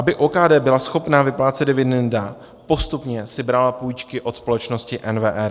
Aby OKD byla schopna vyplácet dividendy, postupně si brala půjčky od společnosti NWR.